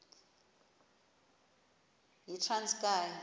yitranskayi